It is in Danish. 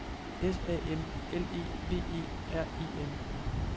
S A M L E V E R E N